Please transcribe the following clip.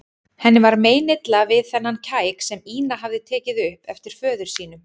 Henni var meinilla við þennan kæk sem Ína hafði tekið upp eftir föður sínum.